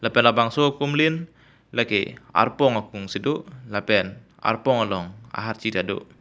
lapen labangso akumlin lake arpong akung si do lapen arpong along aharchi ta do.